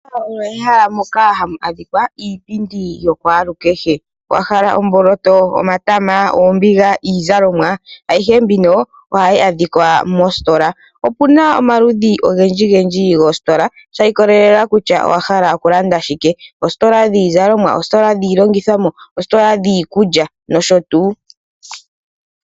Omehala moka hamu adhika iipindi yo kwaalu kehe. Owahala omboloto, omatama, oombiga, iizalomwa, ayihe mbino ohayi adhikwa moositola. Opuna omaludhi ogendji gendji goositola shi ikolelela kutya owahala okulanda shike. Oositola dhii zalomwa, oositola dhii longithomwa, oositola dhiikulya nosho tu.